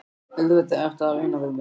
Auðvitað ertu að reyna við mig!